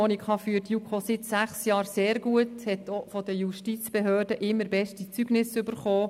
Monika Gygax führt die JuKo seit sechs Jahren sehr gut, sie hat auch von den Justizbehörden immer beste Zeugnisse erhalten.